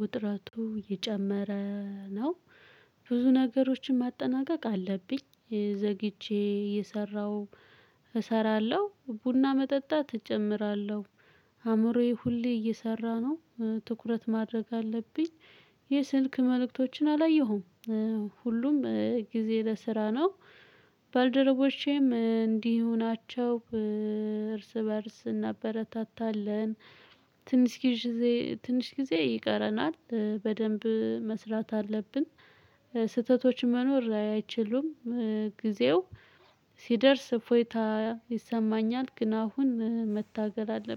ውጥረቱ የጨመረ ነው። ብዙ ነገሮችን ማጠናቀቅ አለብኝ። ዘግቼ የሰራው እሰራለሁ ቡና መጠጣት እጨምራለሁ። አእምሮዬ ሁሌ እየሰራ ነው። ትኩረት ማድረግ አለብኝ። የስልክ መልእክቶችን አላየሁም። ሁሉም ጊዜ ለስራ ነው። ባልደረቦቼም እንዲሁ ናቸው እርስ በእርስ እናበረታታለን። ትንሽ ጊዜ ትንሽ ጊዜ ይቀረናል በደንብ መስራት አለብን። ስህተቶች መኖር አይችሉም። ጊዜው ሲደርስ እፎይታ ይሰማኛል። ግን አሁን መታገል አለብኝ